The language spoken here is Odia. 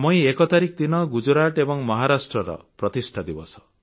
ମଇ 1 ତାରିଖ ଦିନ ଗୁଜରାତ ଏବଂ ମହାରାଷ୍ଟ୍ରର ପ୍ରତିଷ୍ଠା ଦିବସ